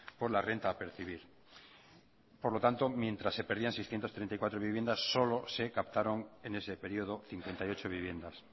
por la renta a percibir por lo tanto mientras se perdían seiscientos treinta y cuatro viviendas solo se captaron en ese periodo cincuenta y ocho viviendas